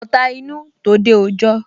Ọ̀ta inú, tòde òjọ